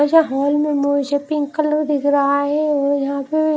वैसे हॉल में मोझे पिंक कलर दिख रहा है और यहां पे--